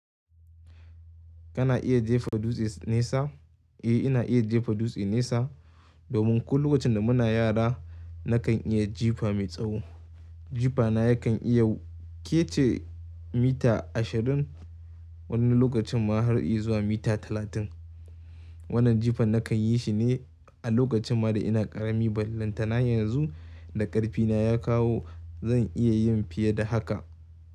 Kana iya jefa dutse nesa? Eh ina iya jefa dutse nesa domin ko lokacin da muna yara nakan iya jifa mai tsawo. Jifa na yakan iya ketce mita ashirin wani lokacin ma har inyi zuwa mita talatin. Wannan jifan nakan yi shi ne a lokacin ma da ina ƙarami ballantana yanzu da ƙarfi na ya kawo zan iya yin fiye da haka.